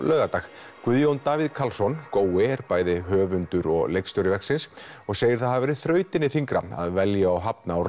laugardag Guðjón Davíð Karlsson gói er bæði höfndur og leikstjóri verksins og segir það hafa verið þrautinni þyngra að velja og hafna úr